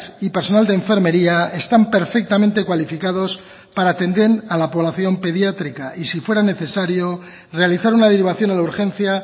y personal de enfermería están perfectamente cualificados para atender a la población pediátrica y si fuera necesario realizar una derivación a la urgencia